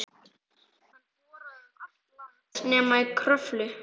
Hann boraði um allt land nema í Kröflu.